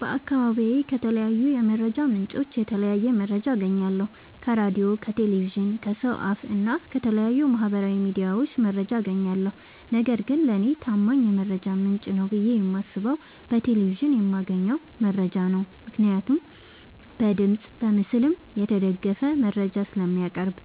በአካባቢዬ ከተለያዩ የመረጃ ምንጮች የተለያየ መረጃ አገኛለሁ ከራዲዮ ከቴሌቪዥን ከሰው አፋ እና ከተለያዩ ማህበራዊ ሚዲያዎች መረጃ አጋኛለሁ። ነገርግን ለኔ ታማኝ የመረጃ ምንጭ ነው ብዬ የማስበው በቴሌቪዥን የማገኘውን መረጃ ነው ምክንያቱም በድምፅም በምስልም የተደገፈ መረጃ ስለሚያቀርብ።